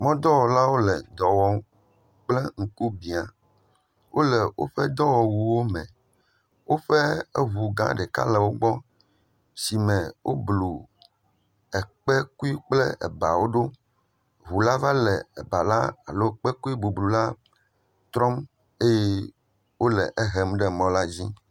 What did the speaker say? mɔ̃dɔwɔlawo le dɔ wɔm kple ŋku biã. Wole woƒe dɔwɔwuwome. Woƒe eŋugã ɖeka le wogbɔ si me woblu ekpekui kple ebawo ɖo. Ŋula le ebala alo kpekuibublula trɔm eye wole ehem ɖe mɔla dzi.